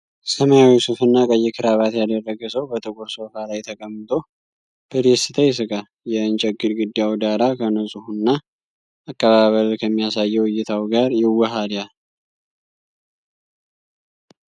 ሰማያዊ ሱፍና ቀይ ክራባት ያደረገ ሰው በጥቁር ሶፋ ላይ ተቀምጦ በደስታ ይስቃል። የእንጨት ግድግዳው ዳራ ከንጹህና አቀባበል ከሚያሳየው እይታው ጋር ይዋሃዳል።